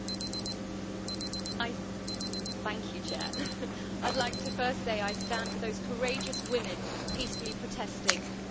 Mr President, I'd like to first say I stand with those courageous women peacefully protesting for their rights in Iran.